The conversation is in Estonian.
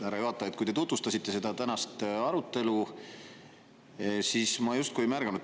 Härra juhataja, kui te tutvustasite seda tänast arutelu, siis ma justkui ei märganud …